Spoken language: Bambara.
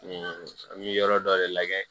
Nin an mi yɔrɔ dɔ de lajɛ